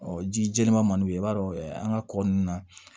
ji jɛlenman man d'u ye i b'a dɔn an ka kɔ ninnu na